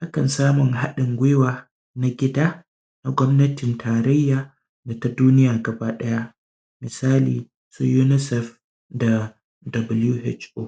akan sama hadin guiwa na gida da gwamnatin tarayya da duniya baki daya misali unisef da dabulu hec o